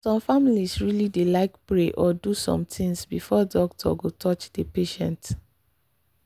some families really dey like pray or do some things before doctor go touch the patient.